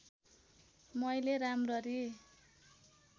मैले राम्ररी